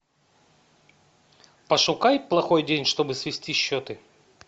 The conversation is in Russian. пошукай плохой день чтобы свести счеты